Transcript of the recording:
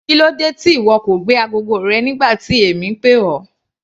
Kílódé tí ìwọ kò gbé agogo rẹ nígbà tí èmi ń pè ọ́.